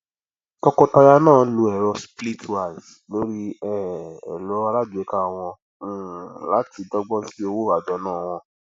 tọkọtaya náà lo ẹrọ splitwise lórí um ẹrọ aláàgbéká wọn um láti dọgbọn sí owó àjọná wọn